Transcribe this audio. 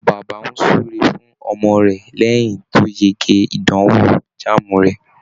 Bàbá ń súre fún ọmọ rẹ̀ lẹ́yìn tí ó yege ìdànwò JAMB rẹ̀